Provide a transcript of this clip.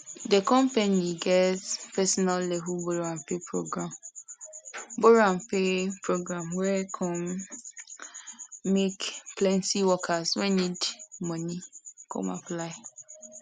the company get personal level borrowandpay program borrowandpay program wey come um make plenty workers wey need money come apply